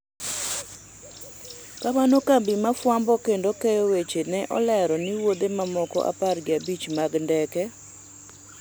kamano, kambi ma fwambo kendo keyo weche ne olero ni wuodhe mamoko apar gi abich mag ndeke